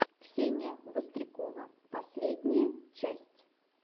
ксения вострикова последняя часть